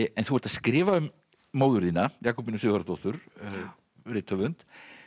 en þú ert að skrifa um móður þína Jakobínu Sigurðardóttur rithöfund